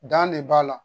Dan de b'a la